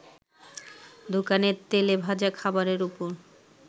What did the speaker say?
দোকানের তেলে ভাজা খাবারের ওপর